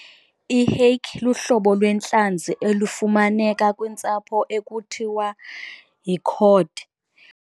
I-hake luhlobo lwentlanzi olufumaneka kwintsapho ekuthiwa yi-cod.